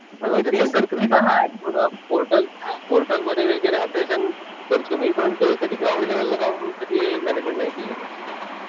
पूर्ण पोर्टल ते पोर्टल मध्ये वगैरे अपडेशन करतो मी. पण कधी ते ग्राउंड लेवलला जाऊन कधी मॅनेजमेंट नाही केलं.